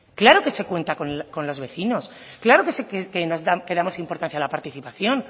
claro que se cuenta con los vecinos claro que damos importancia a la participación